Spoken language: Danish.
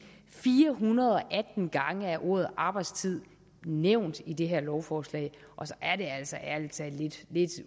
fire hundrede og atten gange er ordet arbejdstid nævnt i det her lovforslag og så er det altså ærlig talt lidt